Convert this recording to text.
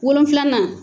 Wolonfilanan